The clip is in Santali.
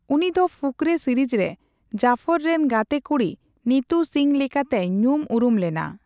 ᱩᱱᱤ ᱫᱚ ᱯᱷᱩᱠᱨᱮ ᱥᱤᱨᱤᱡᱽ ᱨᱮ ᱡᱟᱯᱷᱚᱨ ᱨᱮᱱ ᱜᱟᱛᱮᱠᱩᱲᱤ ᱱᱤᱛᱩ ᱥᱤᱝᱦᱚ ᱞᱮᱠᱟᱛᱮᱭ ᱧᱩᱢ ᱩᱨᱩᱢ ᱞᱮᱱᱟ ᱾